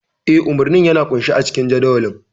Eh, umarnin yana ƙunshe a cikin jadawalin.